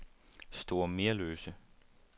Store Merløse